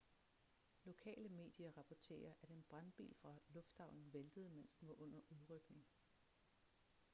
lokale medier rapporterer at en brandbil fra lufthavnen væltede mens den var under udrykning